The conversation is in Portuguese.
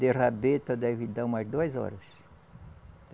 De rabeta deve dar umas duas horas.